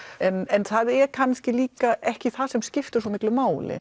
en það er kannski líka ekki það sem skiptir svo miklu máli